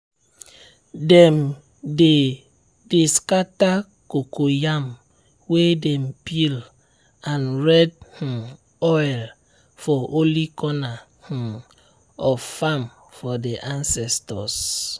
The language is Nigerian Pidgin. dem dey dey scatter cocoyam way dem peel and red um oil for holy corner um of farm for the ancestors.